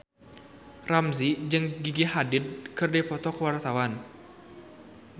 Ramzy jeung Gigi Hadid keur dipoto ku wartawan